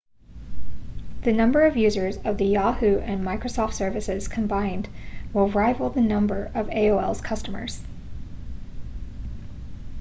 the number of users of the yahoo and microsoft services combined will rival the number of aol's customers